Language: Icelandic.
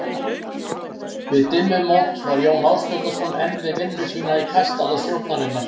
Við dimmumót var Jón Ásbjarnarson enn við vinnu sína í kastala stjórnarinnar.